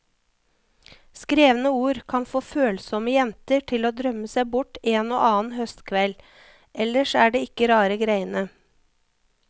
Skrevne ord kan få følsomme jenter til å drømme seg bort en og annen høstkveld, ellers er det ikke rare greiene.